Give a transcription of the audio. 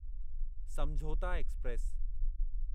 समझौता एक्सप्रेस